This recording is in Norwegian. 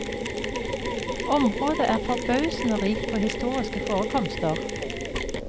Området er forbausende rikt på historiske forekomster.